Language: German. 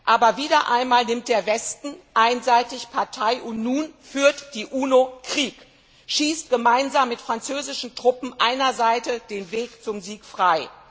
Aber wieder einmal nimmt der Westen einseitig Partei, und nun führt die UNO Krieg, schießt gemeinsam mit französischen Truppen einer Seite den Weg zum Sieg frei.